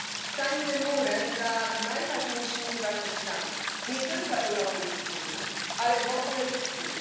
Stańmy murem za najważniejszymi wartościami nie tylko europejskimi, ale w ogóle ludzkimi.